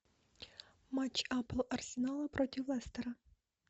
матч апл арсенала против лестера